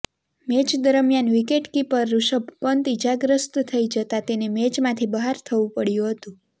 match દરમિયાન wicketkeeper Rishabh Pant ઈજાગ્રસ્ત થઈ જતાં તેને મેચમાંથી બહાર થવું પડ્યું હતું